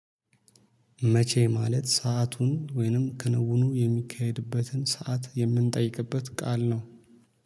መቼ ማለት ሰአቱን ወይንም ከንውኑ የሚካሄድበትን ሰዓት የምንጠይቅበት ቃል ነው